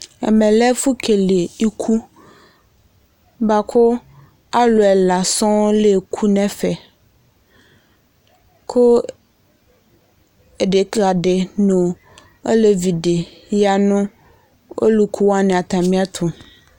Ɛmɛ lɛ ɛfʋ kele iku, bʋa kʋ alʋ ɛla sɔŋ la eku nʋ ɛfɛ, kʋ edekǝ dɩ nʋ olevi dɩ ya nʋ ɔlʋku wanɩ atamɩ ɛtʋ